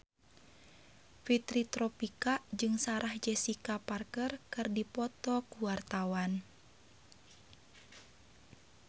Fitri Tropika jeung Sarah Jessica Parker keur dipoto ku wartawan